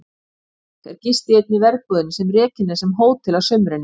Í Ólafsvík er gist í einni verbúðinni sem rekin er sem hótel að sumrinu.